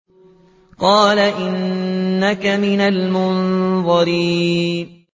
قَالَ إِنَّكَ مِنَ الْمُنظَرِينَ